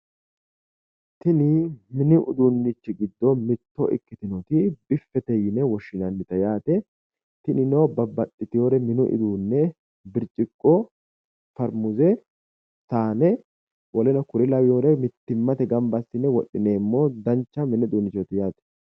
Tini mini uduunnichi giddo mitto ikkitinoti biffete yine woshinannite yaate tinino babbaxitewore minu uduunne birciqqo farimmuse sa'ne woleno kuri lawiyore mittimmate ganbba asinne wodhinnemo danicha mini uddunchooti yaate